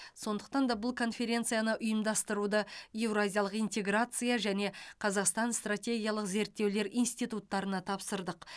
сондықтан да бұл конференцияны ұйымдастыруды еуразиялық интеграция және қазақстан стратегиялық зерттеулер институттарына тапсырдық